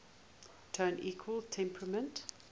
tone equal temperament